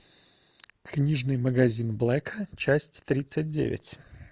книжный магазин блэка часть тридцать девять